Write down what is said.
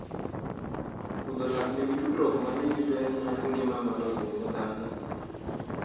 Rudho lak nigi tudruok mane gi ber mar ngima mar obuongo dhano?